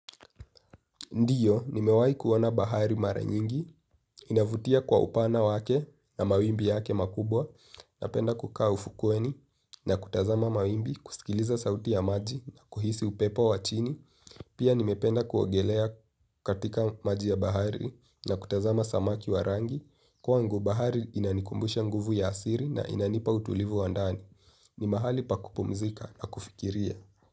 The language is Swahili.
Ndiyo, nimewahi kuona bahari mara nyingi, inavutia kwa upana wake na mawimbi yake makubwa, napenda kukaa ufukweni na kutazama mawimbi, kusikiliza sauti ya maji na kuhisi upepo wa chini. Pia nimependa kuogelea katika maji ya bahari na kutazama samaki warangi. Kwangu bahari inanikumbusha nguvu ya asiri na inanipa utulivu wa ndani. Ni mahali paku pumzika na kufikiria.